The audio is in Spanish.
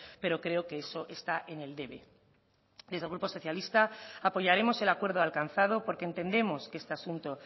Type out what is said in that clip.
pero creo que eso está en el debe desde el grupo socialista apoyaremos el acuerdo alcanzado porque entendemos que este asunto